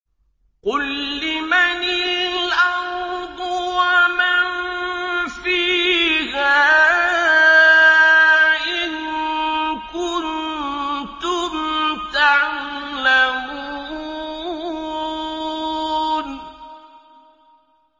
قُل لِّمَنِ الْأَرْضُ وَمَن فِيهَا إِن كُنتُمْ تَعْلَمُونَ